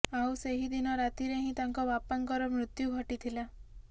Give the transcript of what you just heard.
ଆଉ ସେହି ଦିନ ରାତିରେ ହିଁ ତାଙ୍କ ବାପାଙ୍କର ମୃତ୍ୟୁ ଘଟିଥିଲା